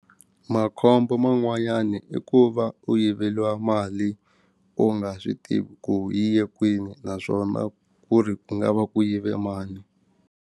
Makhombo man'wanyana i ku va u yiveliwa mali u nga swi tivi ku yi ye kwini naswona ku ri ku nga va ku yive mani.